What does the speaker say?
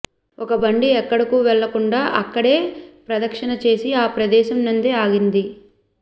ఒక బండి ఎక్కడకు వెళ్లకుండా అక్కడే ప్రదక్షిణ చేసి ఆప్రదేశంనందే ఆగినది